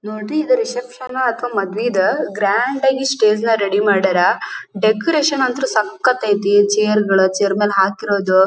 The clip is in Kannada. ನೋಡ್ರಿ ಇದು ರಿಸೆಪ್ಶನ್ ನಾ ಅಥವಾ ಮದುವೆದಾ ಗ್ರ್ಯಾಂಡಾಗಿ ಸ್ಟೇಜ್ನ ರೆಡಿ ಮಾಡಾರ. ಡೆಕೋರೇಷನ್ ಅಂತೂ ಸಕ್ಕತು ಐತೆ ಚೇರ್ ಗಳು ಚೇರ್ ಮೇಲೆ ಹಾಕಿರದು--